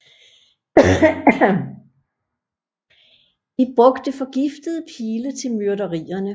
De brugte forgiftede pile til myrderierne